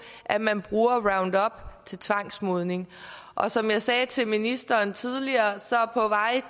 at man bruger roundup til tvangsmodning og som jeg sagde til ministeren tidligere